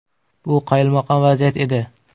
Bu qoyilmaqom vaziyat edi.